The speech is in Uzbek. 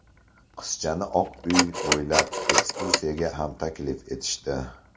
Qizchani Oq uy bo‘ylab ekskursiyaga ham taklif etishdi.